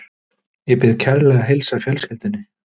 Ég bið kærlega að heilsa fjölskyldunni.